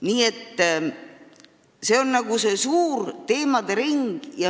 Nii et see on lai teemade ring.